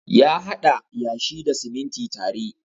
Ya haɗa yashi da siminti tare.